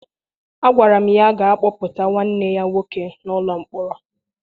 Agwara m ya gaa kpọpụta nwanne ya nwoke n'ụlọ mkpọrọ!